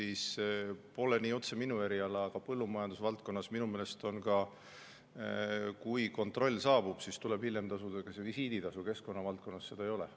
See pole küll otseselt minu eriala, aga põllumajandusvaldkonnas minu meelest on ka nii, et kui kontroll saabub, siis tuleb hiljem tasuda visiiditasu, keskkonna valdkonnas seda ei ole.